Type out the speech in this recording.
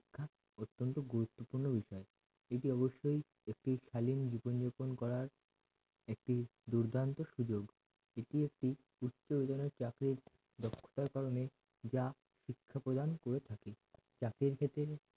এটি অবশ্যই একটি সালিম জীবন যাপন করার একটি দুর্দান্ত সুযোগ এটি একটি উচ্চধরণের চাকরির দক্ষতার কারণে যা শিক্ষা প্রদান হয়ে থাকে জাতির ক্ষেত্রে